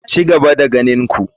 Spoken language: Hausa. Ci gaba da ganin ku.